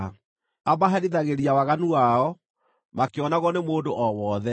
Amaherithagĩria waganu wao makĩonagwo nĩ mũndũ o wothe,